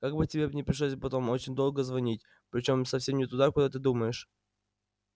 как бы тебе не пришлось потом очень долго звонить причём совсем не туда куда ты думаешь